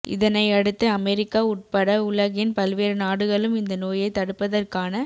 இதனையடுத்துஅமெரிக்கா உட்பட உலகின் பல்வேறு நாடுகளும் இந்த நோயை தடுப்பதற்கான